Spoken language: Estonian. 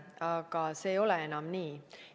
Aga see ei ole enam nii.